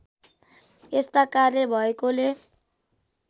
यस्ता कार्य भएकोले